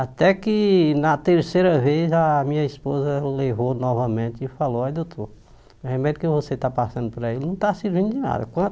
Até que na terceira vez a minha esposa levou novamente e falou, olhe doutor o remédio que você está passando para ele não está servindo de nada.